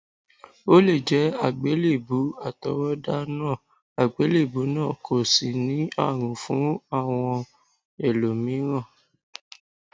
o lè jẹ àgbélébùú àtọwọdá náà àgbélébùú náà kò sì ní àrùn fún àwọn ẹlòmíràn